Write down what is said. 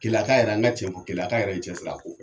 Keleyaka yɛrɛ an kɛ cɛn fɔ keleya yɛrɛ ye cɛsiri a ko fɛ.